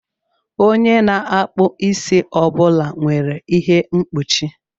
Onye na-akpụ isi ọ bụla nwere ihe mgbochi.